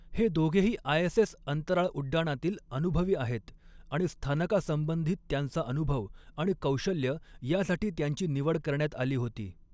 हे दोघेही आयएसएस अंतराळ उड्डाणातील अनुभवी आहेत आणि स्थानकासंबंधित त्यांचा अनुभव आणि कौशल्य यासाठी त्यांची निवड करण्यात आली होती.